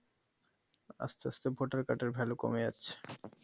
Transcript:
আস্থে আস্থে ভোটার কার্ডের Value কমে যাচ্ছে